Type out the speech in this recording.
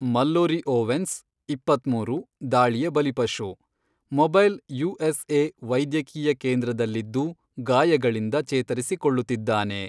Mallory Owens, ಇಪ್ಪತ್ಮೂರು, ದಾಳಿಯ ಬಲಿಪಶು, ಮೊಬೈಲ್ ಯುಎಸ್ಎ ವೈದ್ಯಕೀಯ ಕೇಂದ್ರದಲ್ಲಿದ್ದು ಗಾಯಗಳಿಂದ ಚೇತರಿಸಿಕೊಳ್ಳುತ್ತಿದ್ದಾನೆ.